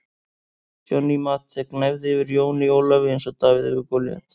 Johnny Mate gnæfði yfir Jóni Ólafi eins og Davíð yfir Golíat.